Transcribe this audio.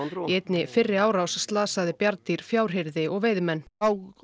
einni fyrri árás slasaði bjarndýr og veiðimenn